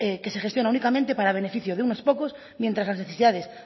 que se gestiona únicamente para beneficio de unos pocos mientras las necesidades